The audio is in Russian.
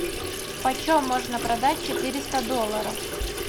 почем можно продать четыреста долларов